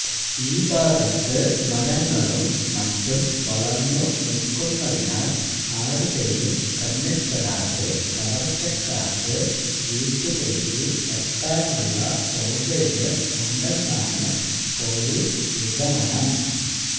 ഈ ഭാഗത്ത് മരങ്ങളും മറ്റും വളർന്നു നിൽക്കുന്നതിനാൽ ആരുടെയും കണ്ണിൽപ്പെടാതെ കവർച്ചക്കാർക്ക് വീട്ടിലേക്ക് എത്താനുള്ള സൌകര്യം ഉണ്ടെന്നാണ് പൊലീസ് നിഗമനം